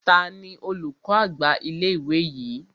Tani olùkọ́ àgbà ilé ìwé yìí?